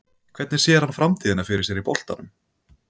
Hvernig sér hann framtíðina fyrir sér í boltanum?